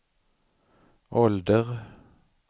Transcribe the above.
ålder